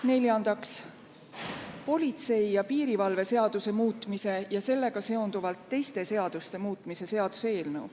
Neljandaks, politsei ja piirivalve seaduse muutmise ja sellega seonduvalt teiste seaduste muutmise seaduse eelnõu.